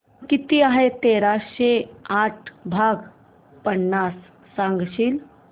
किती आहे तेराशे साठ भाग पन्नास सांगशील